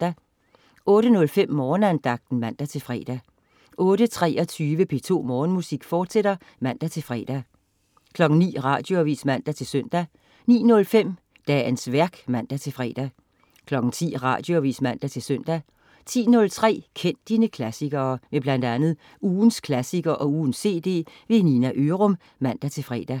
08.05 Morgenandagten (man-fre) 08.23 P2 Morgenmusik, fortsat (man-fre) 09.00 Radioavis (man-søn) 09.05 Dagens værk (man-fre) 10.00 Radioavis (man-søn) 10.03 Kend dine klassikere. Med bl.a. ugens klassiker og ugens cd. Nina Ørum (man-fre)